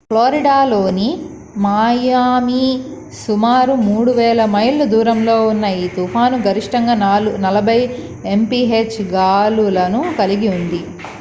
ఫ్లోరిడలోని Miami సుమారు 3,000 మైళ్ళ దూరంలో ఉన్న ఈ తుఫాను గరిష్టంగా 40 mph 64 kph గాలులను కలిగి ఉంది